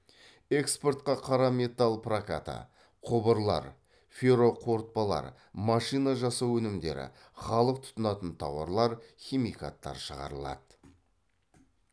экспортқа қара металл прокаты құбырлар ферроқорытпалар машина жасау өнімдері халық тұтынатын тауарлар химикаттар шығарылады